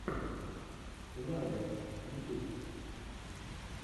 лаггер ютюб